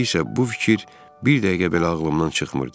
İndi isə bu fikir bir dəqiqə belə ağlımdan çıxmırdı.